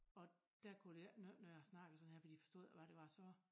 Og dér kunne det ikke nytte noget jeg snakkede sådan her fordi forstod ikke hvad det var jeg sagde